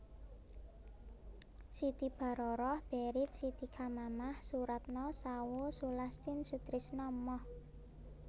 Siti Baroroh Baried Siti Chamamah Soeratno Sawoe Sulastin Sutrisno Moh